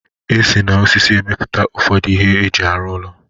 esi na osisi emepụta ụfọdụ ihe eji arụ ụlọ.